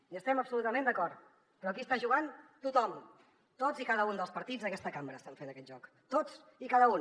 hi estem absolutament d’acord però aquí està jugant tothom tots i cada un dels partits d’aquesta cambra estan fent aquest joc tots i cada un